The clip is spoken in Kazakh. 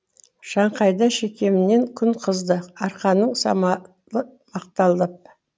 шаңқайда шекемнен күн қызды арқаның самалы ақтаулап